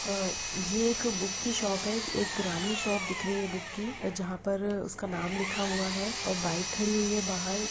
अ ये एक बुक की शॉप है एक पुरानी शॉप दिख रही है बुक की जहां पर उसका नाम लिखा हुआ है और बाइक खड़ी हुई है बाहर।